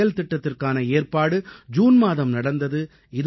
இந்தச் செயல்திட்டத்திற்கான ஏற்பாடு ஜூன் மாதம் நடந்தது